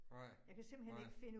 Nej, nej